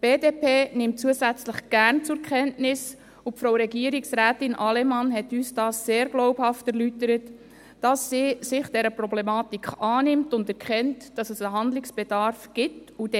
Die BDP nimmt zusätzlich gerne zur Kenntnis – und Frau Regierungsrätin Allemann hat uns dies sehr glaubhaft erläutert –, dass sie sich dieser Problematik annimmt und erkennt, dass Handlungsbedarf besteht.